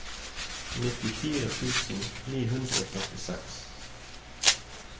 nittifire tusen ni hundre og førtiseks